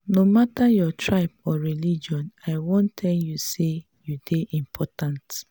no mata your tribe or religion i wan tell you say you dey important.